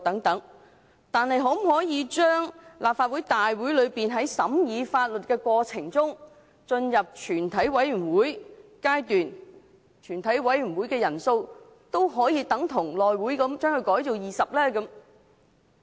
但是，立法會可否把在審議法律建議過程中的全體委員會的法定人數，與內務委員會一樣統一為20人？